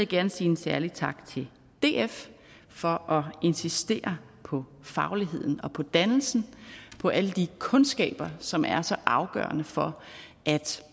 gerne sige en særlig tak til df for at insistere på fagligheden og på dannelsen på alle de kundskaber som er så afgørende for at